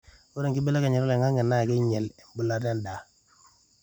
ore enkibelekenya oloingangi naa keinyel embulata endaa